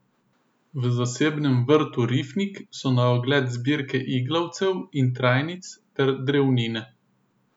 V zasebnem vrtu Rifnik so na ogled zbirke iglavcev in trajnic ter drevnine.